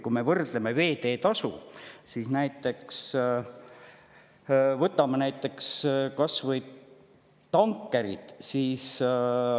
Kui me võrdleme veeteetasu, siis võtame kas või tankerid.